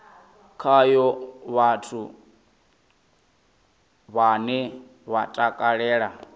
khayo vhathu vhane vha takalela